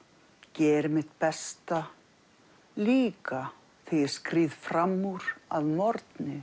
geri mitt besta líka þegar ég skríð fram úr að morgni